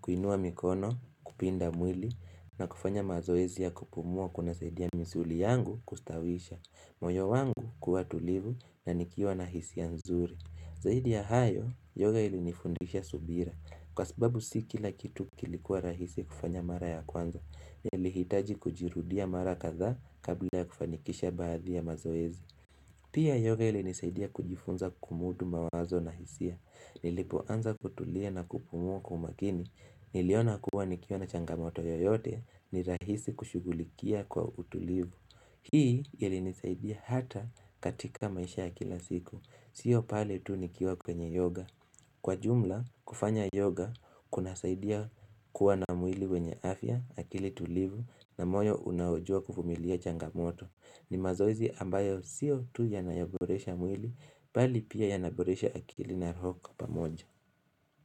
kuinua mikono kupinda mwili na kufanya mazoezi ya kupumua kunasaidia misuli yangu kustawisha moyo wangu kuwa tulivu na nikiwa na hisia nzuri Zaidi ya hayo, yoga ilinifundisha subira. Kwa sababu si kila kitu kilikuwa rahisi kufanya mara ya kwanza. Nilihitaji kujirudia mara kadha kabla ya kufanikisha baadhi ya mazoezi. Pia yoga ilinisaidia kujifunza kumudu mawazo na hisia. Nilipoanza kutulia na kupumua kwa umakini. Niliona kuwa nikiwa na changamoto yoyote ni rahisi kushugulikia kwa utulivu. Hii ilinisaidia hata katika maisha ya kila siku. Sio pale tu nikiwa kwenye yoga. Kwa jumla, kufanya yoga kunasaidia kuwa na mwili wenye afya, akili tulivu na moyo unao jua kuvumilia changamoto. Ni mazoezi ambayo sio tu yanayoboresha mwili, bali pia yanaboresha akili na roho kwa pamoja.